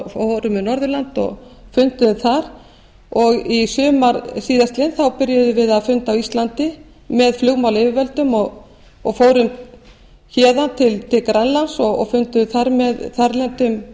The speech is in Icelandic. fórum um norðurland og funduðum þar og í sumar síðastliðið byrjuðum við að funda á íslandi með flugmálayfirvöldum og fórum héðan til grænlands og funduðum þar með þarlendum